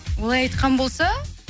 олай айтқан болса